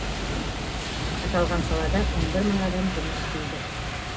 аталған салада он бір мың адам жұмыс істейді